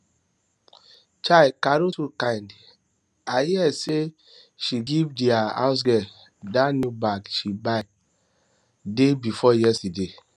chaii carol too kind i hear hear say she give dia housegirl dat new bag she buy day before yesterday